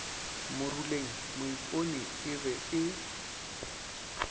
moruleng moipone e be e